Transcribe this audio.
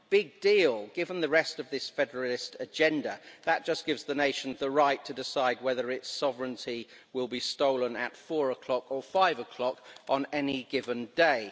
Big deal given the rest of this federalist agenda, that just gives the nation the right to decide whether its sovereignty will be stolen at 4 o'clock or 5 o'clock on any given day.